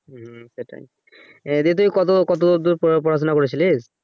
হু সেটাই এটা তুই কত কতদূর পড়াশুনা করেছিলি?